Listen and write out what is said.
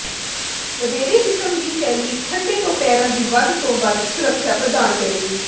ਵਧੇਰੇ ਕਿਸਮ ਦੀ ਸ਼ੈਲੀ ਠੰਡੇ ਤੋਂ ਪੈਰਾਂ ਦੀ ਵੱਧ ਤੋਂ ਵੱਧ ਸੁਰੱਖਿਆ ਪ੍ਰਦਾਨ ਕਰੇਗੀ